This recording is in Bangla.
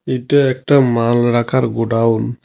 এটা একটা মাল রাখার গোডাউন ।